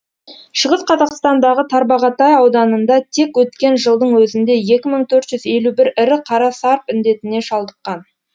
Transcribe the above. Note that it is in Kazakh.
шығыс қазақстандағы тарбағатай ауданында тек өткен жылдың өзінде екі мың төрт жүз елу бір ірі қара сарп індетіне шалдыққан